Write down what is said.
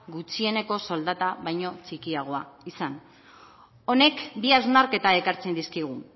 gutxieneko soldata baino txikiagoa izan honek bi hausnarketa ekartzen dizkigu